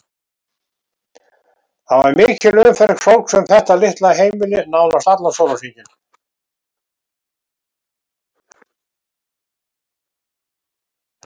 Það var mikil umferð fólks um þetta litla heimili nánast allan sólarhringinn.